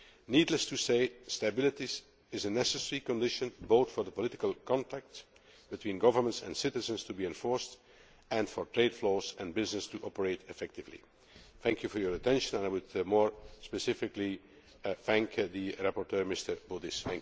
Needless to say stability is a necessary condition both for the political contacts between governments and citizens to be enforced, and for trade flows and business to operate effectively. Thank you for your attention and I would more specifically thank the rapporteur, Mr Baudis.